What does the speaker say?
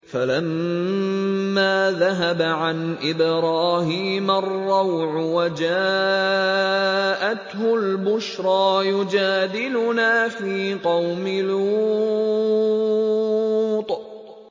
فَلَمَّا ذَهَبَ عَنْ إِبْرَاهِيمَ الرَّوْعُ وَجَاءَتْهُ الْبُشْرَىٰ يُجَادِلُنَا فِي قَوْمِ لُوطٍ